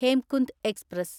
Hemkund express